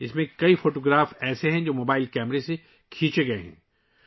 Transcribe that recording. اس میں بہت سی تصاویر ہیں ، جو موبائل کیمرے سے لی گئی ہیں